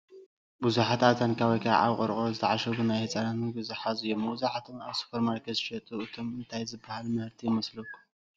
ብዙሓት ኣብ ታንካ ወይ ከዓ ኣብ ቆርቆሮ ዝተዓሸጉ ናይ ህፃናት ምግቢ ዝሓዙ እዮም፡፡ መብዛሕተኦም ኣብ ሱፐርማርኬት ዝሽየጡ እዮም፡፡ እንታይ ዝባሃል ምህርቲ ይመስለኩም?